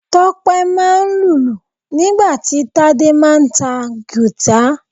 Tope máa ń lùlù nígbà tí Tade máà ń ta guitar.